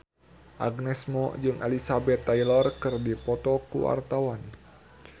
Agnes Mo jeung Elizabeth Taylor keur dipoto ku wartawan